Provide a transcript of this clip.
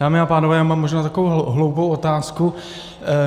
Dámy a pánové, já mám možná takovou hloupou otázku.